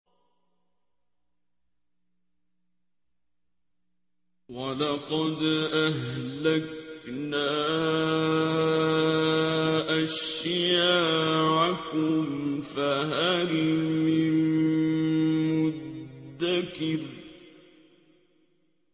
وَلَقَدْ أَهْلَكْنَا أَشْيَاعَكُمْ فَهَلْ مِن مُّدَّكِرٍ